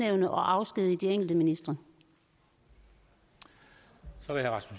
minister og